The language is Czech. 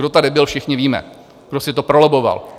Kdo tady byl, všichni víme, kdo si to prolobboval.